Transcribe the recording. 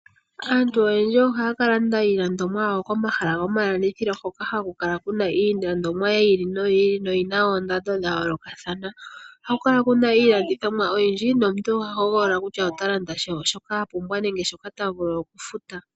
Aantu oyendji ohaya kalanda iilandomwa yawo komahala gomalandithilo hoka haku kala kuna iilandomwa yi ili noyi ili noyina oondando dhayoolokathana ohaku kala kuna iilanditjomwa oyindji nomuntu oha hoholola kutua otalanda shoka apumbwa nenge shoka tavulu okufuta.